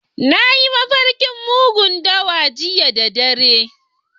Na yi mafarkin mugun dawa jiya da dare.